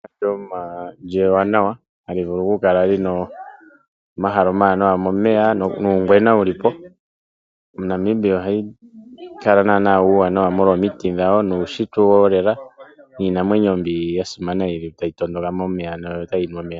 Ehala ewanawa hali vulu okukala lina omahala omawanawa nomeya, nuungwena wulipo. Namibia oha kala nana ena uuwanawa molwa omiti dhe nuushitwe wolela niinamwenyo mbi ya simana yi li tayi tondoka momeya notayi nu omeya.